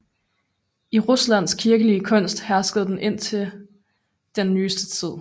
I Ruslands kirkelige kunst herskede den indtil den nyeste tid